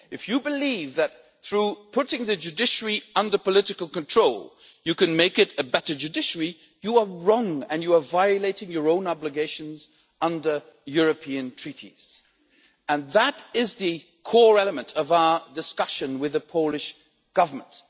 If you believe that through putting the judiciary under political control, you can make it a better judiciary, you are wrong and you are violating your own obligations under the EU Treaties, and that is the core element of our discussion with the Polish Government.